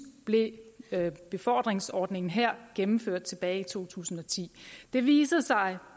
blev befordringsordningen her gennemført tilbage i to tusind og ti det viser sig at